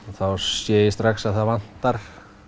þá sé ég strax að það vantar